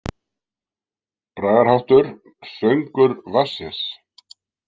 Bragarháttur: „Söngur vatnsins“.